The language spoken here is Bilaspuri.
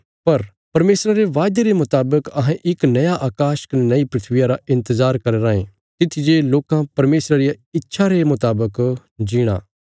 पर परमेशरा रे वायदे रे मुतावक अहें इक नया अकाश कने नई धरतिया रा इन्तजार करया राँये तित्थी जे लोकां परमेशरा रिया इच्छा रे मुतावक जीणा